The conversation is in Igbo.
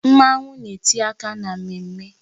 Mmanwu na-etinye aka na mmemme